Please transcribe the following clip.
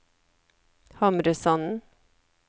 Hamresanden